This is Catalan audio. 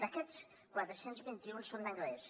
d’aquests quatre cents i vint un són d’anglès